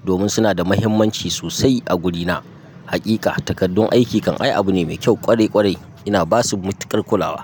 domin suna da mahimmanci sosai a gurina. Hakika, takardun aiki kan ai abu ne mai kyau ƙwarai ƙwarai ina basu matukar kulawa.